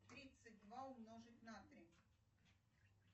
тридцать два умножить на три